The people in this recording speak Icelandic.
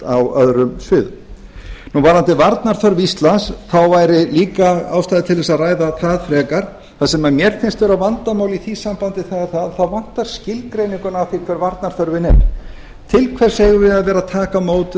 á öðrum sviðum varðandi varnarþörf íslands þá væri líka ástæða til þess að ræða það frekar það sem mér finnst vera vandamál í því sambandi það er að það vantar skilgreininguna á því hver varnarþörf er til hvers eigum við að vera að taka á móti